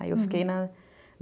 Aí eu fiquei na